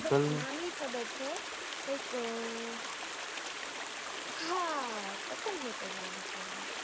નામ ય ખબર છે કઈક અમ હા પતંગ હોટલ નામ હતું એનું